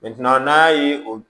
n'a ye o